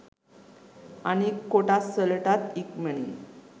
අනික් කොටස් වලටත් ඉක්මනින්